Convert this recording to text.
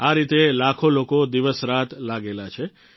આ રીતે લાખો લોકો દિવસરાત લાગેલા છે